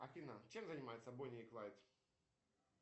афина чем занимаются бонни и клайд